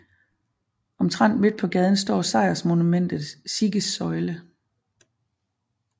Omtrent midt på gaden står sejrsmonumentet Siegessäule